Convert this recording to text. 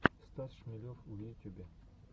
стас шмелев в ютюбе